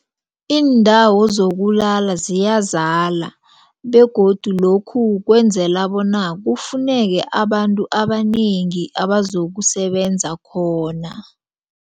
Iindawo zokulala ziyazala begodu lokhu kwenzela bona kufuneke abantu abanengi abazokusebenza khona.